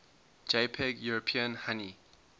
jpg european honey